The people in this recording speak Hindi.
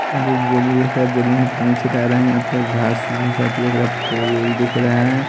यहां पर बोड़ी देख रहे हैं बोरिंग में पानी छीटा रहे हैं यहां पर घास-भूसा दिख रहा फूल-उल दिख रहे हैं।